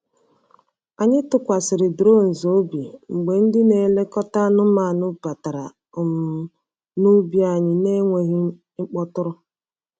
Anyị tụkwasịrị drones obi mgbe ndị na-elekọta anụmanụ batara um n’ubi anyị n’enweghị ịkpọtụrụ.